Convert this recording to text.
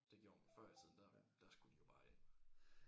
Det gjorde man før i tiden der der skulle de jo bare ind